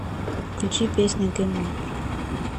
включи песня гейм овер